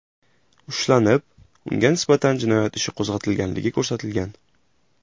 ushlanib, unga nisbatan jinoyat ishi qo‘zg‘atilganligi ko‘rsatilgan.